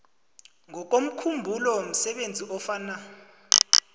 ngokomkhumbulo msebenzi ofana